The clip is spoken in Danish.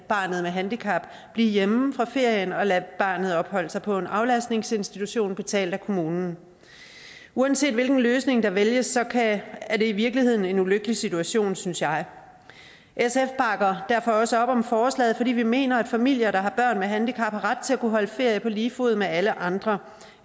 barnet med handicap blive hjemme fra ferien og lader barnet opholde sig på en aflastningsinstitution betalt af kommunen uanset hvilken løsning der vælges er det i virkeligheden en ulykkelig situation synes jeg sf bakker derfor også op om forslaget vi mener at familier der har børn med handicap har ret til at holde ferie på lige fod med alle andre